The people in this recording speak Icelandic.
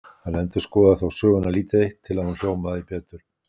Hann endurskoðaði þó söguna lítið eitt, til að hún hljómaði betur.